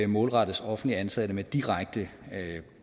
målrettes offentligt ansatte med direkte